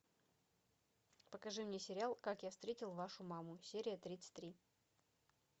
покажи мне сериал как я встретил вашу маму серия тридцать три